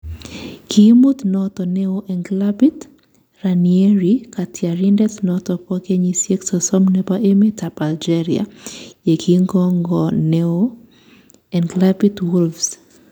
Kiimut noton neo en klabit, Ranieri katyarindet noton bo kenyiseik sosom nebo emet ab Algeria ye kingongo ne-on en klabit ab Wolves.